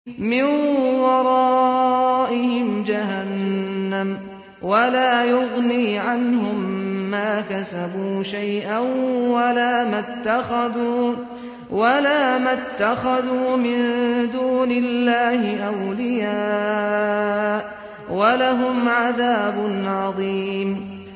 مِّن وَرَائِهِمْ جَهَنَّمُ ۖ وَلَا يُغْنِي عَنْهُم مَّا كَسَبُوا شَيْئًا وَلَا مَا اتَّخَذُوا مِن دُونِ اللَّهِ أَوْلِيَاءَ ۖ وَلَهُمْ عَذَابٌ عَظِيمٌ